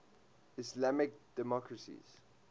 islamic democracies